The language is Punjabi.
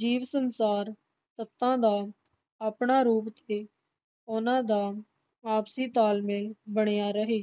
ਜੀਵ ਸੰਸਾਰ ਤੱਤਾਂ ਦਾ ਆਪਣਾ ਤੇ ਉਹਨਾਂ ਦਾ ਆਪਸੀ ਤਾਲ ਮੇਲ ਬਣਿਆ ਰਹੇ,